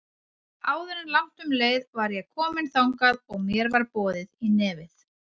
Áður en langt um leið var ég komin þangað og mér var boðið í nefið.